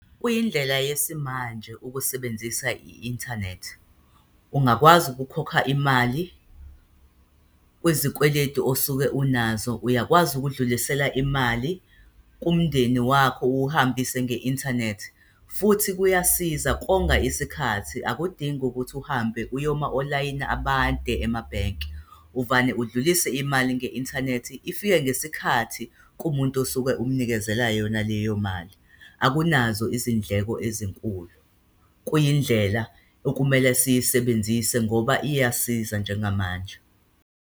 Kuyindlela yesimanje ukusebenzisa i-inthanethi. Ungakwazi ukukhokha imali kwezikweletu osuke unazo. Uyakwazi ukudlulisela imali kumndeni wakho, uwuhambise nge-inthanethi, futhi kuyasiza, konga isikhathi. Akudingi ukuthi uhambe uyoma olayini abade emabhenki. Uvane udlulise imali nge-inthanethi, ifike ngesikhathi kumuntu osuke umnikezela yona leyo mali. Akunazo izindleko ezinkulu. Kuyindlela okumele siyisebenzise ngoba iyasiza njengamanje.